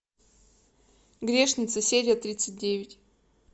грешница серия тридцать девять